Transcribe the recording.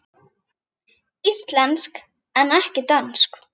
Íslensk en ekki dönsk.